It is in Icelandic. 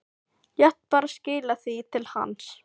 Lét bara skila því til hans!